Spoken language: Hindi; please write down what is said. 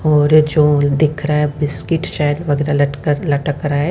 और जो दिख रहा है बिस्किट शायद वगैराह लटका लटक रहा है।